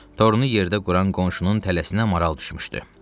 Torunu yerdə quran qonşunun tələsinə maral düşmüşdü.